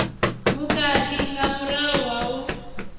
vhukhakhi nga murahu ha u